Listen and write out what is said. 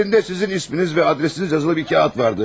Əlində sizin isminiz və adresiniz yazılı bir kağız vardı.